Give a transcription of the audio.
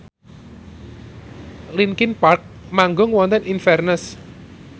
linkin park manggung wonten Inverness